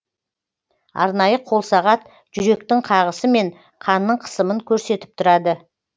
арнайы қолсағат жүректің қағысы мен қанның қысымын көрсетіп тұрады